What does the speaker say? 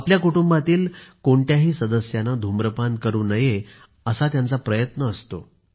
आपल्या कुटुंबातील कोणत्याही सदस्याने धूम्रपान करू नये असा त्यांचा प्रयत्न असतो